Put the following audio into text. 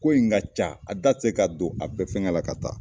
Ko in ka ca a da se k'a don a bɛɛ fɛngɛ la ka taa